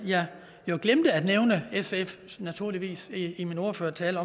jeg glemte at nævne sf i min ordførertale